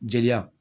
Jeliya